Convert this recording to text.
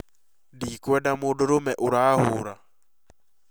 Ndikwenda mũndũrũme ũrahura